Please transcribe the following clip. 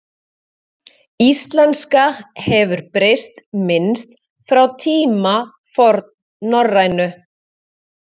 Íslenska hefur breyst minnst frá tíma fornnorrænu.